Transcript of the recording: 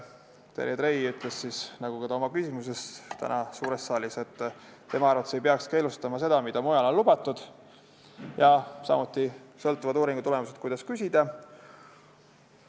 Terje Trei ütles, nagu ta ütles ka oma küsimuses täna suures saalis, et tema arvates ei peaks keelustama seda, mis mujal on lubatud, ja samuti sõltuvad uuringu tulemused sellest, kuidas küsida.